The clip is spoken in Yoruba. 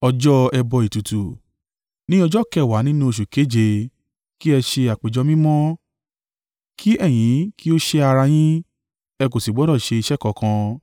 “ ‘Ní ọjọ́ kẹwàá nínú oṣù keje, kí ẹ ṣe àpéjọ mímọ́. Kí ẹ̀yin kí ó sẹ́ ara yín, ẹ kò sì gbọdọ̀ ṣe iṣẹ́ kankan.